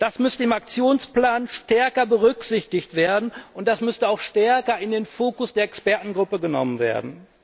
Das müsste im Aktionsplan stärker berücksichtigt werden, und das müsste auch stärker in den Fokus der Expertengruppe genommen werden.